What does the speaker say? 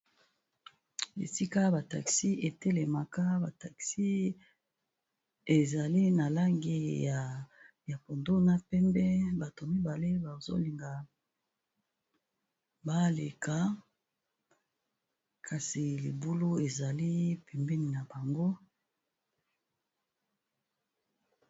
Esika ba taxi etelemaka ba taxi ezali na langi ya pondu na pembe bato mibale bazolinga baleka kasi libulu ezali pembenj na bango.